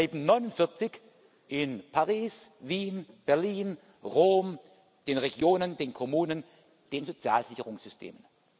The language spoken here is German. Es bleiben 49 in Paris, Wien, Berlin, Rom, den Regionen, den Kommunen, den sozialen Sicherungssystemen.